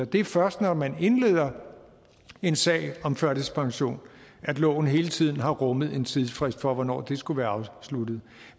det er først når man indleder en sag om førtidspension at loven hele tiden har rummet en tidsfrist for hvornår det skulle være afsluttet